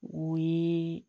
O ye